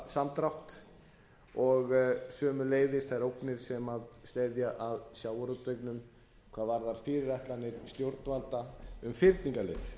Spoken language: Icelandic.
í aflasamdrátt og sömuleiðis þær ógnir sem steðja að sjávarútveginum hvað varðar fyrirætlanir stjórnvalda um fyrningarleiðin